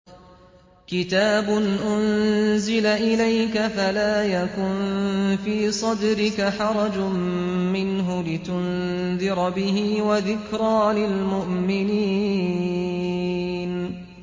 كِتَابٌ أُنزِلَ إِلَيْكَ فَلَا يَكُن فِي صَدْرِكَ حَرَجٌ مِّنْهُ لِتُنذِرَ بِهِ وَذِكْرَىٰ لِلْمُؤْمِنِينَ